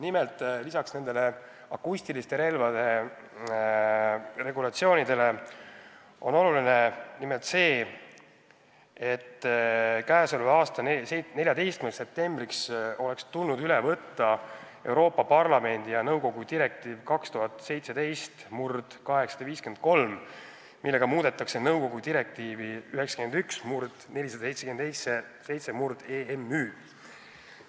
Nimelt, lisaks nende akustiliste relvadega seonduvale regulatsioonile on oluline see, et k.a 14. septembriks oleks tulnud üle võtta Euroopa Parlamendi ja nõukogu direktiiv 2017/853, millega muudetakse nõukogu direktiivi 91/477/EMÜ.